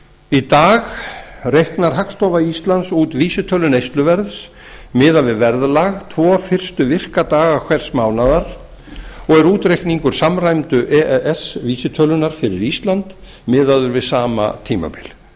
í dag reiknar hagstofa íslands út vísitölu neysluverðs miðað við verðlag tvo fyrstu virka daga hvers mánaðar og er útreikningur samræmdu e e s vísitölunnar fyrir ísland miðaður við sama tímabil